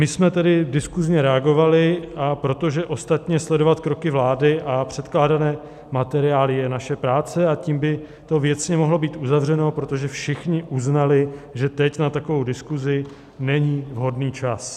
My jsme tedy diskusně reagovali, protože ostatně sledovat kroky vlády a předkládané materiály je naše práce, a tím by to věcně mohlo být uzavřeno, protože všichni uznali, že teď na takovou diskusi není vhodný čas.